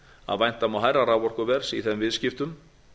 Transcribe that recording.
að vænta má hærra raforkuverðs í þeim viðskiptum